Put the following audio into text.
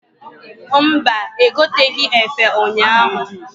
Mba, egoteghi efe ụnyaahụ.